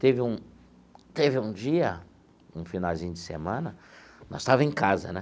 Teve um teve um dia, um finalzinho de semana, nós estava em casa, né?